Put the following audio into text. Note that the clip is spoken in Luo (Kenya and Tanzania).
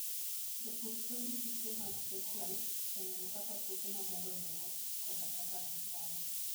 Jopur tiyo gi piche mag satellite e nono kaka puothe madongo dongo koda kaka gichamo.